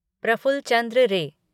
Praful Chandra Rai